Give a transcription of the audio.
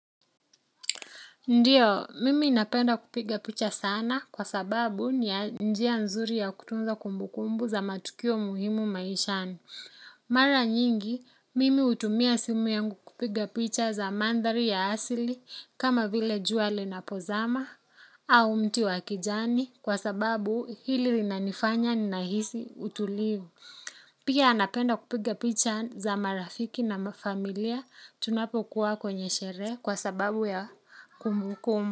Ndiyo, mimi napenda kupiga picha sana kwa sababu ni njia nzuri ya kutunza kumbu kumbu za matukio muhimu maishani. Mara nyingi, mimi hutumia simu yangu kupiga picha za mandhari ya asili kama vile juali linapozama au mti wa kijani kwa sababu hili linanifanya ninahisi utulivu. Pia napenda kupiga picha za marafiki na mafamilia tunapokuwa kwenye sherehe kwa sababu ya kumbu kumbu.